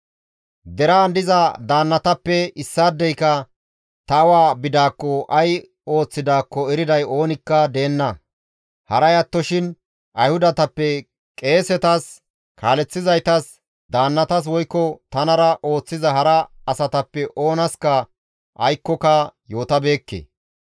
Deraan diza daannatappe issaadeyka ta awa bidaakko ay ooththidaakko eriday oonikka deenna; haray attoshin Ayhudatappe qeesetas, kaaleththizaytas, daannatas woykko tanara ooththiza hara asatappe oonaska aykkoka yootabeekke.